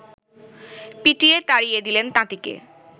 পিটিয়ে তাড়িয়ে দিলেন তাঁতিকে